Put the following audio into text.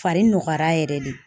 Fari nɔgɔyara yɛrɛ de